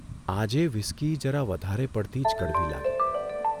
આજે વ્હિસ્કી જરા વધારે પડતી જ કડવી લાગી !